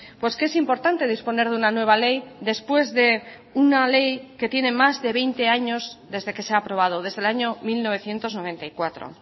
pues que es importante disponer de una nueva ley después de una ley que tiene más de veinte años desde que se ha aprobado desde el año mil novecientos noventa y cuatro